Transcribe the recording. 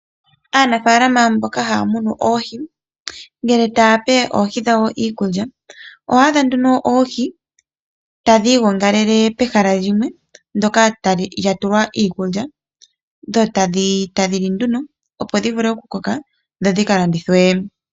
Aanafaalama mboka haya munu oohi, ngele tayape oohi dhawo iikulya, oho adha nduno oohi tadhi igongalele pehala limwe ndyoka lyatulwa iikulya, dho tadhi li nduno opo dhi vule oku koka, dho dhika landithwe.